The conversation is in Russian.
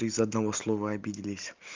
из-за одного слова обиделись